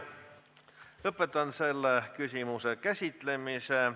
Lõpetan selle küsimuse käsitlemise.